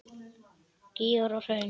Gígar og hraun